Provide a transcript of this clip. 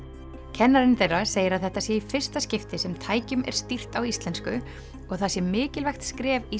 kennarinn þeirra segir að þetta sé í fyrsta skipti sem tækjum er stýrt á íslensku og það sé mikilvægt skref í